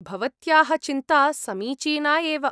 भवत्याः चिन्ता समीचीना एव।